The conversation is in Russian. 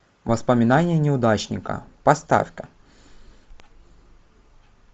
воспоминания неудачника поставь ка